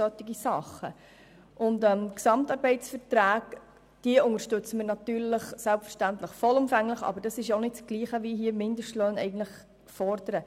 Die GAV unterstützen wir selbstverständlich vollumfänglich, aber das ist nicht dasselbe wie die Forderung von Mindestlöhnen.